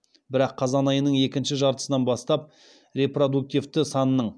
бірақ қазан айының екінші жартысынан бастап репродуктивті санның